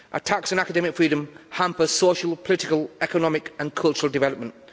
Attacks on academic freedom hamper social, political, economic and cultural development.